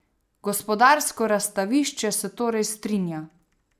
Gospodarsko razstavišče se torej strinja.